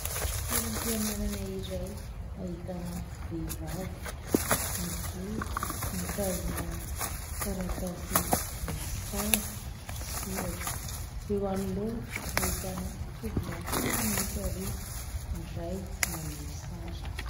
Toeram-pianarana iray ahitana vehivavy mijoro, mitazona taratasy misy sary sy soratra. Eo anoloana ahitana tovolahy kely miisa roa, ny iray manondro sary.